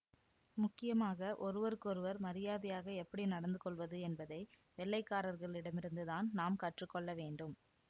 முக்கியமாக ஒருவருக்கொருவர் மரியாதையாக எப்படி நடந்து கொள்வது என்பதை வெள்ளை காரர்களிடமிருந்து தான் நாம் கற்று கொள்ள வேண்டும்